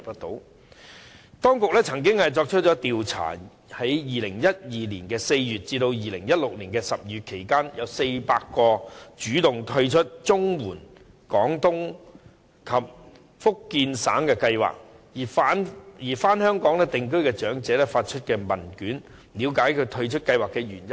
當局曾經進行調查，在2012年4月至2016年12月期間，向400名主動退出綜援長者廣東及福建省養老計劃而返港定居的長者發出問卷，了解他們退出的原因。